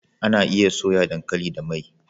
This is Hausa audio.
Anaa iya soya dankali da mai